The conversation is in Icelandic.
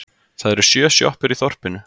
Það eru sjö sjoppur í þorpinu!